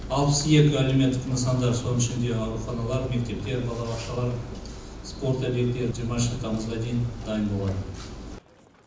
алпыс екі әлеуметтік нысандар соның ішінде ауруханалар мектептер балабақшалар спорт объектілері жиырмасыншы тамызға дейін дайын болады